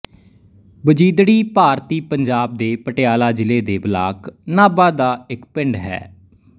ਵਜੀਦੜੀ ਭਾਰਤੀ ਪੰਜਾਬ ਦੇ ਪਟਿਆਲਾ ਜ਼ਿਲ੍ਹੇ ਦੇ ਬਲਾਕ ਨਾਭਾ ਦਾ ਇੱਕ ਪਿੰਡ ਹੈ